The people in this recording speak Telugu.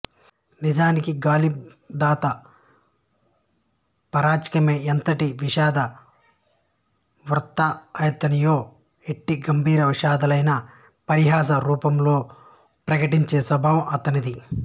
నిజానికి గాలిబ్ దంతా పరాచికమేఎంతటి విషాద వృత్తాంతాన్నయినా ఎట్టి గంభీర విషాదాన్నయినా పరిహాస రూపంలో ప్రకటించే స్వభావం ఆతనిది